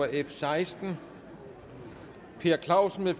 f seksten per clausen